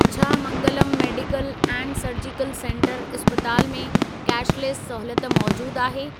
छा Mangalam medical and surgical centre इस्पताल में कैशलेस सहूलियत मौजूद आहे?